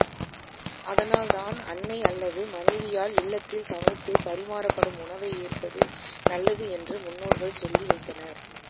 அதனால் தான் அன்னை அல்லது மனைவியால் இல்லத்தில் சமைத்து பரிமாறப்படும் உணவை ஏற்பது நல்லது என்று முன்னோர்கள் சொல்லி வைத்தனர்